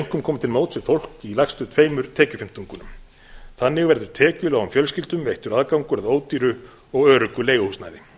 einkum komið til móts við fólk í lægstu tveimur tekjufimmtungunum þannig verður tekjulágum fjölskyldum veittur aðgangur að ódýru og öruggu leiguhúsnæði